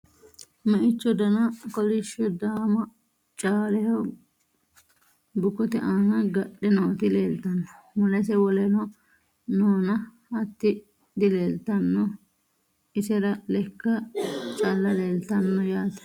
Meicho danna kolishsho daamma caaleho bukkotte aanna gadhe nootti leelittanno. Mulese wolenno noonna hatti dileelittanno. isera lekka calla leelittanno yaatte